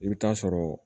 I bɛ taa sɔrɔ